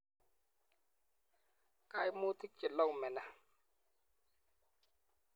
kaimutik che kelaumeni?